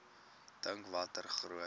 dink watter groot